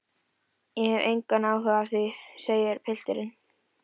Ég hef engan áhuga á því, segir pilturinn.